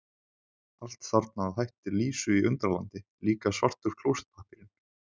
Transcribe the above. Allt þarna að hætti Lísu í Undralandi, líka svartur klósettpappírinn.